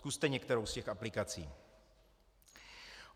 Zkuste některou z těch aplikací.